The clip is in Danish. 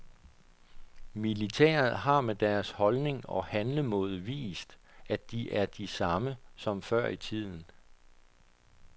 Militæret har med deres holdning og handlemåde vist, at de er de samme som før i tiden.